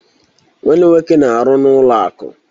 Nwanne m nwoke na-aru n'ụlọ akụ